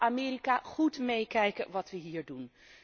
Laat Amerika goed meekijken wat we hier doen.